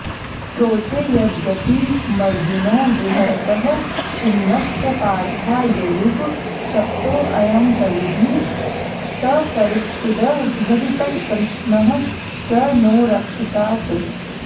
प्रोचे यद्गतिमर्जुनो विहरतः खिन्नश्च पार्था ययुः शप्तोऽयं कलिजित्परीक्षिदभजत्कृष्णः स नो रक्षतात्